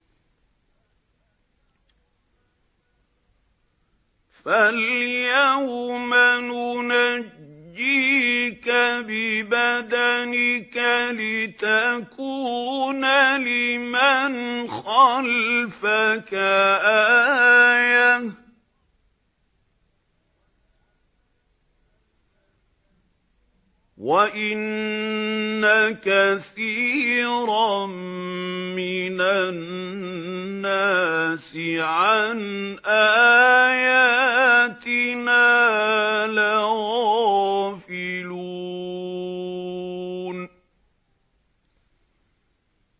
فَالْيَوْمَ نُنَجِّيكَ بِبَدَنِكَ لِتَكُونَ لِمَنْ خَلْفَكَ آيَةً ۚ وَإِنَّ كَثِيرًا مِّنَ النَّاسِ عَنْ آيَاتِنَا لَغَافِلُونَ